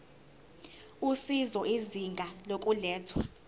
usizo izinga lokulethwa